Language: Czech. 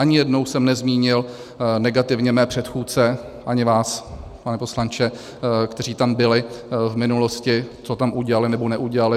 Ani jednou jsem nezmínil negativně své předchůdce, ani vás, pane poslanče, kteří tam byli v minulosti, co tam udělali nebo neudělali.